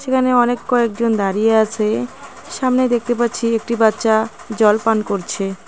সেখানে অনেক কয়েকজন দাঁড়িয়ে আছে সামনে দেখতে পাচ্ছি একটি বাচ্চা জল পান করছে .